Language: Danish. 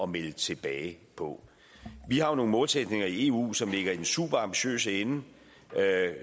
melde tilbage på vi har nogle målsætninger i eu som ligger i den superambitiøse ende